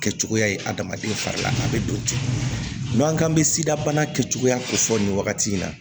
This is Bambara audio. Kɛcogoya ye adamaden fari la a bɛ don ten n'u k'an bɛ sidabana kɛcogoya ko fɔ nin wagati in na